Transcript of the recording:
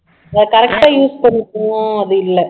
அதை correct ஆ use பண்ணிக்குவோம் அது இல்ல